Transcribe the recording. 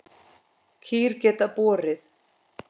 Kýr geta borið